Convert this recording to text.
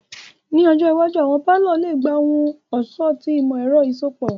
Ni ọjọ iwaju, awọn palọ le gba ohun-ọṣọ ti imọ-ẹrọ iṣọpọ.